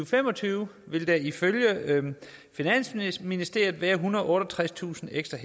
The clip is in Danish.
fem og tyve vil der ifølge finansministeriet være ethundrede og otteogtredstusind ekstra